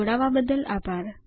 જોડવા બદલ આભાર